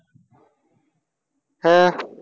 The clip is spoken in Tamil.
ஆஹ்